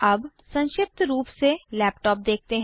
अब संक्षिप्त रूप से लैपटॉप देखते हैं